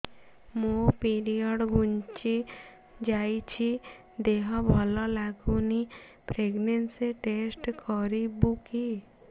ମୋ ପିରିଅଡ଼ ଘୁଞ୍ଚି ଯାଇଛି ଦେହ ଭଲ ଲାଗୁନି ପ୍ରେଗ୍ନନ୍ସି ଟେଷ୍ଟ କରିବୁ କି